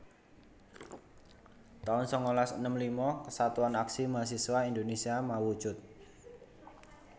taun sangalas enem lima Kesatuan Aksi Mahasiswa Indonésia mawujud